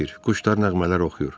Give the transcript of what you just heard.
Quşlar nəğmələr oxuyur.